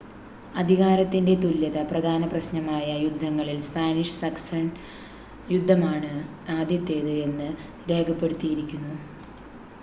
അധികാരത്തിൻ്റെ തുല്യത പ്രധാന പ്രശ്നമായ യുദ്ധങ്ങളിൽ സ്പാനിഷ് സക്സഷൻ യുദ്ധമാണ് ആദ്യത്തേത് എന്ന് രേഖപ്പെടുത്തിയിരിക്കുന്നു